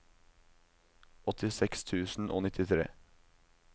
åttiseks tusen og nittitre